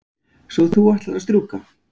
Svo þú ætlar að strjúka?